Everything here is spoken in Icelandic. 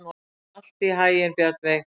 Gangi þér allt í haginn, Bjarnveig.